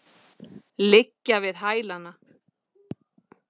Liggja við hælana.